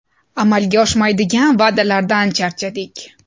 Amalga oshmaydigan va’dalardan charchadik.